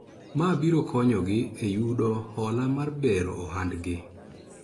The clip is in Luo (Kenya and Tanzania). Ma biro konyo gi e yudo hola mar bero ohandgi